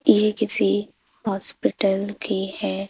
ये किसी हॉस्पिटल की है।